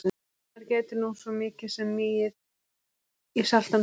Ef maður gæti nú svo mikið sem migið í saltan sjó.